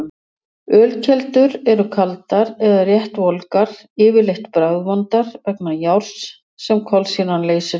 Ölkeldur eru kaldar eða rétt volgar, yfirleitt bragðvondar vegna járns sem kolsýran leysir upp.